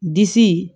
Disi